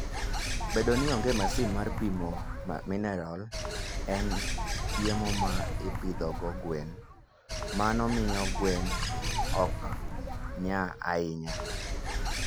Bedo ni onge masin mar pimo mineral e chiemo ma ipidhogo gwen, mano miyo gwen ok nya ahinya.